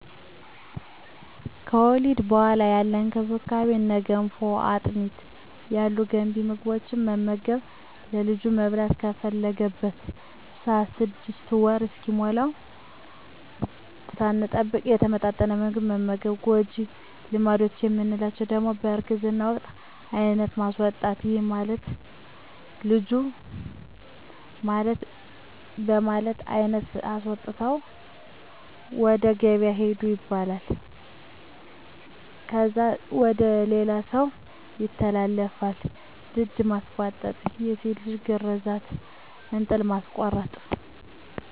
ከወሊድ በኋላ ያለ እንክብካቤ እነ ገንፎ፣ አጥሚት ያሉ ገንቢ ምግቦትን መመገብ፣ ለልጁ መብላት በፈለገበት ሰአት 6 ወር እስኪሞላዉ ሳንጠብቅ የተመጣጠነ ምግብ መመገብ። ጎጂ ልማዶች የምንላቸዉ ደሞ በእርግዝና ወቅት የአይነት ማስወጣት ይህም ማለት ለልጁ በማለት አይነት አስወጥተዉ ወደ ገበያ ሂዱ ይባላል። ከዛ ወደ ሌላ ሰዉ ይተላለፋል፣ ድድ ማስቧጠጥ፣ የሴት ልጅ ግርዛት፣ እንጥል ማስቆረጥ፣ ከቤት ዉስጥ መዉለድ ብዙ ደም ሊፈስ ስለሚችል ሞት ያመጣል እና እነዚህ ሁሉ ጎጂ ባህል ናቸዉ።